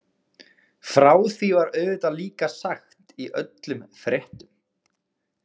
Frá því var auðvitað líka sagt í öllum fréttum.